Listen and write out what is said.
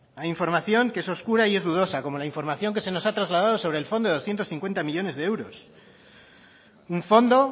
hay información que es oscura y es dudosa como la información que se nos ha trasladado sobre el fondo de doscientos cincuenta millónes de euros un fondo